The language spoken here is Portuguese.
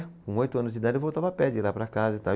Com oito anos de idade eu voltava a pé de lá para casa e tal.